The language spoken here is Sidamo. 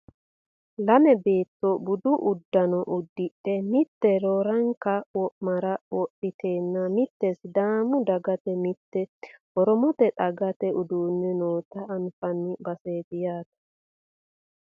lame beetto budu uddano uddidhe mitte roorenka wo'mare wodhiteenna mitte sidaamu dagata mitte oromote dagata uddidhe noota anfanni baseeti yaate